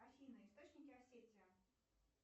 афина источники осетия